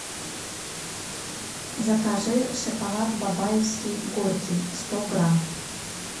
закажи шоколад бабаевский горький сто грамм